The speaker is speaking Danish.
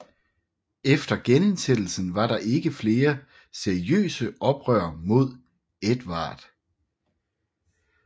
Efter genindsættelsen var der ikke flere seriøse oprør mod Edvard